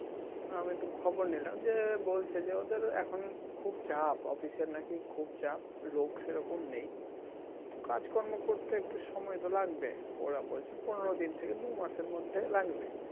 আমি তো খবর নিলাম যে বলছে যে ওদের এখন খুব চাপ office এর নাকি খুব চাপ লোক সেরকম নেই তো কাজকর্ম করতে একটু সময় তো লাগবে ওরা বলছে পনেরো দিন থেকে দু মাসের মধ্যে লাগবে